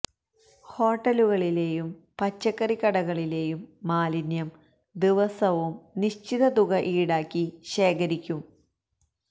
ഹോട്ടലുകളിലെയും പച്ചക്കറി കടകളിലെയും മാലിന്യം ദിവസവും നിശ്ചിത തുക ഈടാക്കി ശേഖരിക്കും